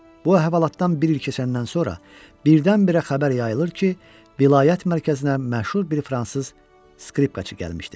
Bu əhvalatdan bir il keçəndən sonra birdən-birə xəbər yayılır ki, vilayət mərkəzinə məşhur bir fransız skripkaçı gəlmişdi.